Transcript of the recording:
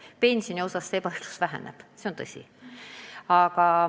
Pensioni maksmisel see ebaõiglus väheneb, see on tõsi.